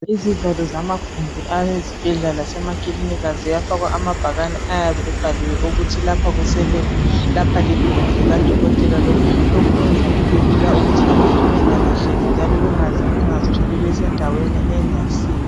Izivalo zamagumbi awezibhedlela lemakiliniki ziyafakwa amabhakane ayabe ebhaliwe ukuthi, lapha kuse lebhu lapha ligumbi likaDokotela lokhu kwenza ukuthi abantu bengalahleki njalo bengazitholi besendaweni engayisiyo.